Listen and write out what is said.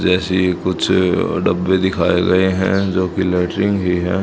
जैसी कुछ अह डब्बे दिखाए गए हैं जो की लैट्रिन ही है।